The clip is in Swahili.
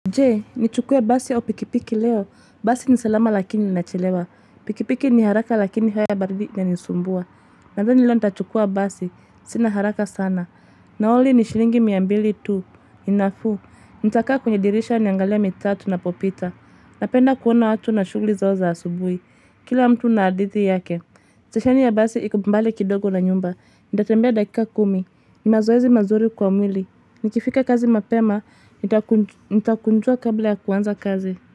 Jee, nichukue basi au pikipiki leo.? Basi ni salama lakini ninachelewa. Pikipiki ni haraka lakini aya na baridi inanisumbua. Nadhani leo nitachukua basi. Sina haraka sana. Nauli ni shilingi miambili tu. Ni nafuu. Nitakaa kwenye dirisha niangalie mitaa tunapopita. Napenda kuona watu na shughuli zao za asubuhi. Kila mtu na hadithi yake. Stesheni ya basi iko mbali kidogo na nyumba. Nitatembea dakika kumi. Ni mazoezi mazuri kwa mwili. Nikifika kazi mapema, nitakunjua kabla ya kuanza kazi.